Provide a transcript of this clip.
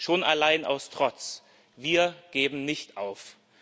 Schon allein aus Trotz wir geben nicht auf.